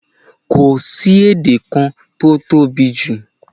Kò sí èdè kan tó tóbijù